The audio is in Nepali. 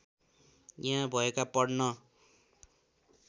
यहाँ भएका पढ्न